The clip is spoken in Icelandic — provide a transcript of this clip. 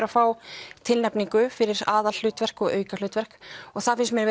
að fá tilnefningu fyrir aðalhlutverk og aukahlutverk og það finnst mér